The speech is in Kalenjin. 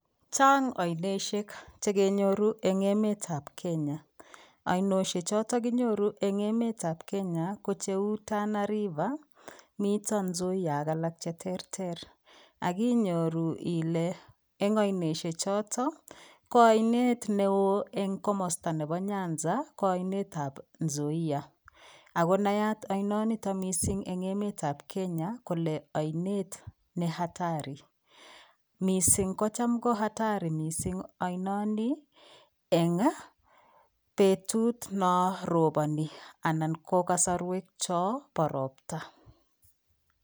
Chang ainosiek chekenyoru en emetab Kenya, ainoshe choton kinyoru en emetab Kenya kocheu Tana river miten Nzoia ak alak cheterter ak inyoru ilee en oinoshe choto ko ainet neo en komosto nebo Nyanza ko inetab Nzoia ak konayat ainoniton mising en emetab Kenya kolee ainet nee hatari mising ko cham ko hatari mising ainoni en betut non roboni anan ko kosorwek chombo robta.